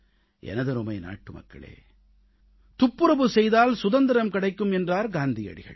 எனதருமை நாட்டுமக்களே துப்புரவு செய்தால் சுதந்திரம் கிடைக்கும் என்றார் காந்தியடிகள்